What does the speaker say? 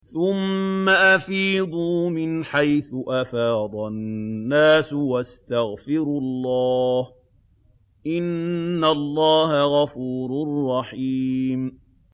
ثُمَّ أَفِيضُوا مِنْ حَيْثُ أَفَاضَ النَّاسُ وَاسْتَغْفِرُوا اللَّهَ ۚ إِنَّ اللَّهَ غَفُورٌ رَّحِيمٌ